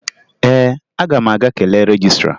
Ee, aga m aga kelee rejistra